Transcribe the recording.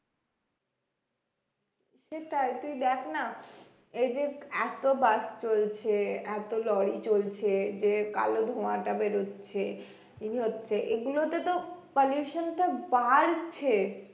সেটাই তুই দেখ না এই যে এত bus চলছে এত লরি চলছে যে কালো ধোয়াটা বেরোচ্ছে এগুলো তে তো pollution টা বাড়ছে